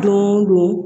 Don o don